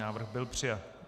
Návrh byl přijat.